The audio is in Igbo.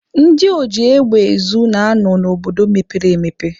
Ndị oji egbe ezu na-anọ n'obodo mepere emepe.